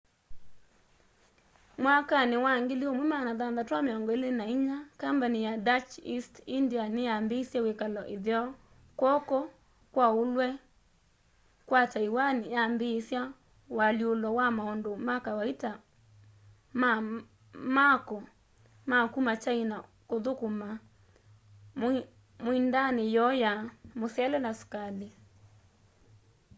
mwakani wa 1624 kambani ya dutch east india niyambiisye wikalo itheo kwoko kwa ulwe kwa taiwan yambiisya ualyulo wa maundu ma kawaita ma mako ma kuma china kuthukuma muindaani yoo ya musele na sukali